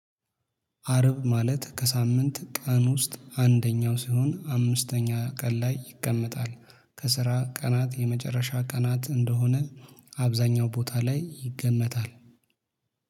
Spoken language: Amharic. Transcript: አርብ ማለት ከሳምንት ቀን ውስጥ አንደኛው ሲሆን አምስተኛ ቀን ላይ ይቀመጣል ከስራ ቀናት የመጨረሻ ቀናት እንደሆነ አብዛኛው ቦታ ላይ ይገመታል